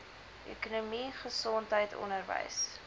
ekonomie gesondheid onderwys